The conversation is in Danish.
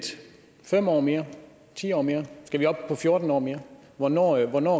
fem år mere ti år mere skal vi op på fjorten år mere hvornår hvornår